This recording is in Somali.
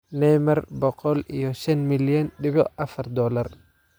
Neymar boqol iyo shan milyan dibic afar dolar